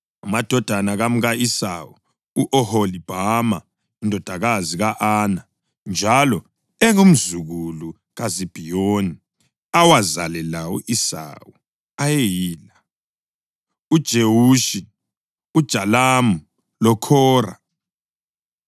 Amadodana kamka-Esawu u-Oholibhama, indodakazi ka-Ana, njalo engumzukulu kaZibhiyoni, awazalela u-Esawu ayeyila: uJewushi, uJalamu loKhora.